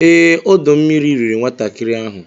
Ee, ọdọ mmiri riri nwatakịrị ahụ